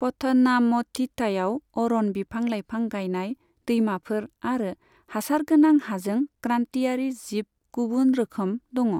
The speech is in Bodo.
पथानामथिट्टायाव अरन, बिफां लायफां गायनाय, दैमाफोर आरो हासार गोनां हाजों क्रान्तियारि जिब गुबुन रोखोम दङ।